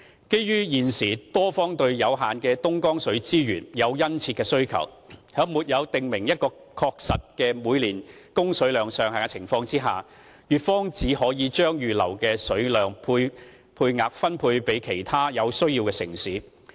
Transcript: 基於現時多方對有限的東江水資源有殷切的需求，在沒有訂明一個確實的每年供水量上限的情況下，粵方只可將預留的水量配額分配給其他有需要的城市。